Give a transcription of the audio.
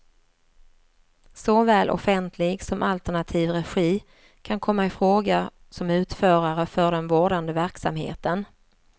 Såväl offentlig som alternativ regi kan komma ifråga som utförare för den vårdande verksamheten.